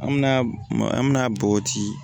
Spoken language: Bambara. An mɛna an mɛna bɔgɔti